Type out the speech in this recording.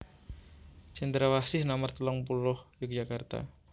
Cendrawasih nomer telung puluh Yogyakarta